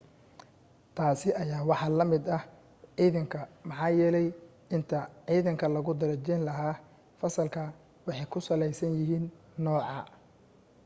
taasi ayaa waxaa la mid ah ciidanka maxaa yeelay inta ciidanka lagu darajayn lahaa fasalka waxay ku salaysan yihiin nooca